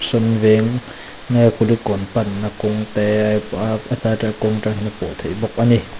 sawn veng nge kulikawn panna kawng te hetlai kawng a tang hian a pawh theih bawk a ni.